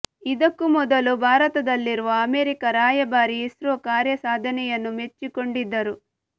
ಇದಕ್ಕೂ ಮೊದಲು ಭಾರತದಲ್ಲಿರುವ ಅಮೆರಿಕ ರಾಯಭಾರಿ ಇಸ್ರೋ ಕಾರ್ಯ ಸಾಧನೆಯನ್ನು ಮೆಚ್ಚಿಕೊಂಡಿದ್ದರು